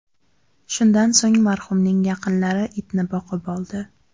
Shundan so‘ng marhumning yaqinlari itni boqib oldi.